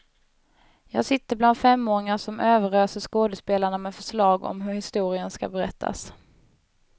Jag sitter bland femåringar som överöser skådespelarna med förslag om hur historien ska berättas.